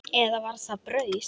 Eða var það brauð?